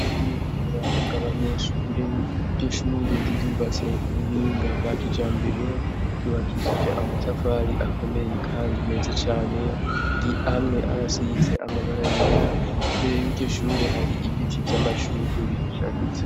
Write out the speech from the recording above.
Ishure ryuburaro bwabanyeshure, iryo shure rirubatse kubuhinga bwa kijambere ryubakishije amatafari akomeye kandi meza cane amwe arasize amabara yera imbere yiryo shure hari ibiti vyamashurwe bihasharije.